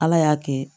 Ala y'a kɛ